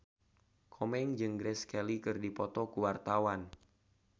Komeng jeung Grace Kelly keur dipoto ku wartawan